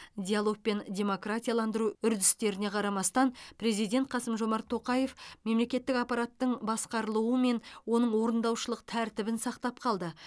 диалог пен демократияландыру үрдістеріне қарамастан президент қасым жомарт тоқаев мемлекеттік аппараттың басқарылуымен оның орындаушылық тәртібін сақтап қалды